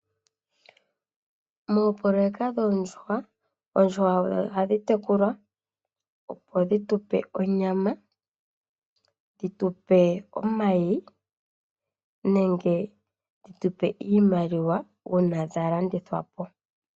Moopoloweka shoondjuhwa. Oondjuhwa ohadhi tekulwa opo dhi tupe onyama. Dhitu pe omayi nenge dhi tupe iimaliwa ngele dha landithwa po.